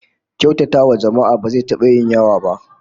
Kyautatawa jama'a ba zai taba yin yawa ba